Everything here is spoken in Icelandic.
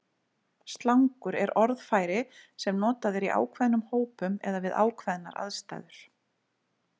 Slangur er orðfæri sem notað er í ákveðnum hópum eða við ákveðnar aðstæður.